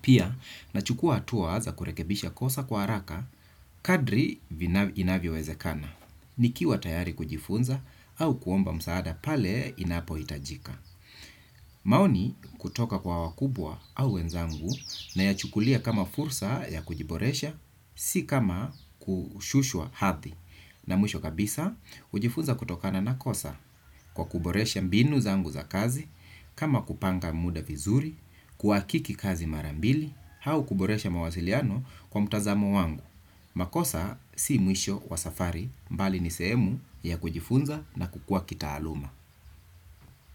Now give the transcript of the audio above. Pia, nachukua hatua za kurekebisha kosa kwa haraka, kadri inavyowezekana. Nikiwa tayari kujifunza au kuomba msaada pale inapohitajika. Maoni kutoka kwa wakubwa au wenzangu nayachukulia kama fursa ya kujiboresha, si kama kushushwa hathi. Na mwisho kabisa, hujifunza kutokana na kosa kwa kuboresha mbinu zangu za kazi, kama kupanga muda vizuri, kuhakiki kazi mara mbili, au kuboresha mawasiliano kwa mtazamo wangu. Makosa si mwisho wa safari mbali ni sehemu ya kujifunza na kukua kitaaluma.